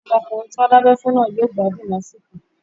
Ọmọkùnrin tí wọ́n dábẹ́ fún náà yóò gbádùn lásìkò